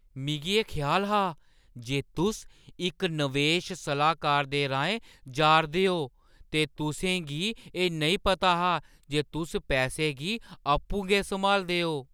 मिगी एह् ख्याल हा जे तुस इक नवेश सलाह्कार दे राहें जा 'रदे ओ ते तुसें गी एह् नेईं पता हा जे तुस पैसे गी आपूं गै सम्हालदे ओ।